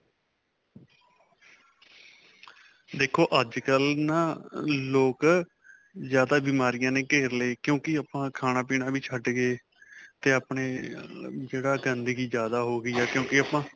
ਦੇਖੋ ਅੱਜਕਲ੍ਹ ਨਾ ਲੋਕ ਜਾਂ ਤਾਂ ਬੀਮਾਰਿਆਂ ਨੇ ਘੇਰ ਲਏ ਕਿਉਂਕਿ ਆਪਾਂ ਖਾਣਾ-ਪੀਣਾ ਵੀ ਛੱਡ ਗਏ 'ਤੇ ਆਪਣੇ ਅਅ ਜਿਹੜਾ ਗੰਦਗੀ ਜਿਆਦਾ ਹੋ ਗਈ ਆ ਕਿਉਂਕਿ ਆਪਾਂ.